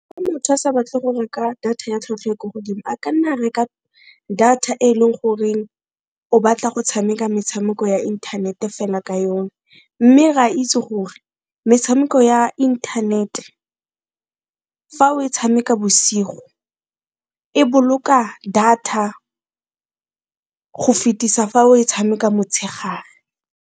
Motho a sa batle go reka data ya tlhwatlhwa e ko godimo a ka nna a reka data e leng gore o batla go tshameka metshameko ya inthanete fela ka yone, mme re a itse gore mme metshameko ya internet fa o e tshameka bosigo e boloka data go fetisa fa o e tshameka motshegare.